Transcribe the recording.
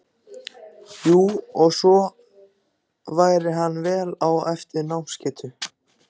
Jú, og svo væri hann vel á eftir í námsgetu.